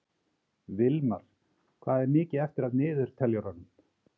Vilmar, hvað er mikið eftir af niðurteljaranum?